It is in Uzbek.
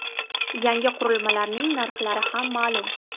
Yangi qurilmalarning narxlari ham ma’lum .